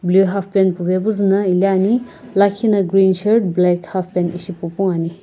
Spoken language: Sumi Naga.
halfpant puvae puzuna ithulu ane lakhina gren shirt pupuno ithulu ane.